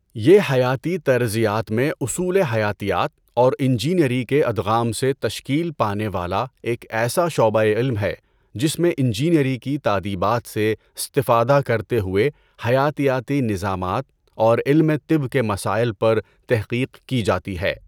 یہ حیاتی طرزیات میں اصول حیاتیات اور انجینئری کے ادغام سے تشکیل پانے والا ایک ایسا شعبۂ علم ہے جس میں انجینئری کی تادیبات سے استفادہ کرتے ہوئے حیاتیاتی نظامات اور علم طب کے مسائل پر تحقیق کی جاتی ہے۔